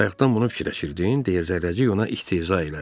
Bayaqdan bunu fikirləşirdin, deyə Zərrəcik ona istehza elədi.